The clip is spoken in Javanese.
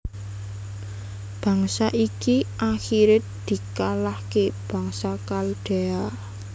Bangsa iki akhire dikalahke bangsa Khaldea